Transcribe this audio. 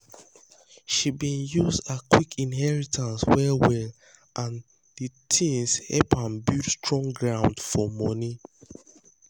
she been use her quick inheritance well well and de thing help am build strong ground for money.